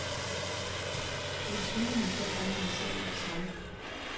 Det vil tvinge dem til at anlægge sag med det samme.